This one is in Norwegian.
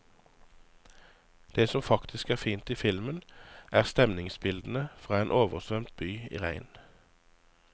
Det som faktisk er fint i filmen, er stemningsbildene fra en oversvømt by i regn.